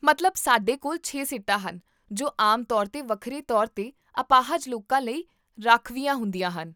ਮਤਲਬ ਸਾਡੇ ਕੋਲ ਛੇ ਸੀਟਾਂ ਹਨ ਜੋ ਆਮ ਤੌਰ 'ਤੇ ਵੱਖਰੇ ਤੌਰ 'ਤੇ ਅਪਾਹਜ ਲੋਕਾਂ ਲਈ ਰਾਖਵੀਆਂ ਹੁੰਦੀਆਂ ਹਨ